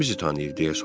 Kim bizi tanıyır?